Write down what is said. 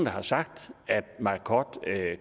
har sagt at marcod